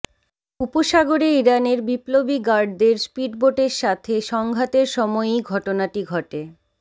উপসাগরে ইরানের বিপ্লবী গার্ডদের স্পিডবোটের সাথে সংঘাতের সময়ই ঘটনাটি ঘটে